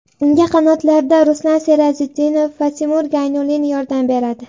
Unga qanotlarda Ruslan Serazitdinov va Timur Gaynulin yordam beradi.